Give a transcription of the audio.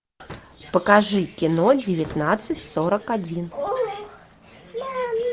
покажи кино девятнадцать сорок один